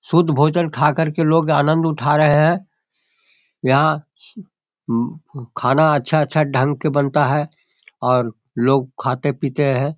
शुद्ध भोजन खाकर के लोग आनंद उठा रहे हैं यहाँ खाना अच्छा-अच्छा ढंग के बनता है और लोग खाते-पीते हैं ।